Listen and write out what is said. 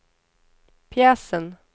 pjäsen